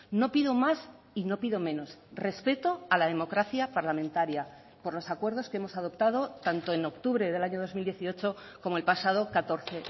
no pido más y no pido menos respeto a la democracia parlamentaria por los acuerdos que hemos adoptado tanto en octubre del año dos mil dieciocho como el pasado catorce